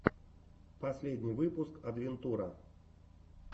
последний выпуск адвентура